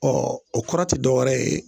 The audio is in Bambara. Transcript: Ɔɔ o kɔrɔ te dɔwɛrɛ ye